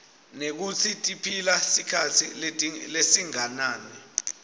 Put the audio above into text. nekutsi tiphila sikhatsi lesinganani